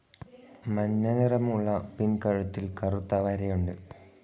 മഞ്ഞ നിറമുള്ള പിൻ കഴുത്തിൽ കറുത്ത വരയുണ്ട്.